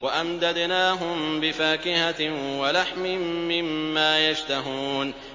وَأَمْدَدْنَاهُم بِفَاكِهَةٍ وَلَحْمٍ مِّمَّا يَشْتَهُونَ